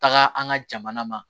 Taga an ka jamana ma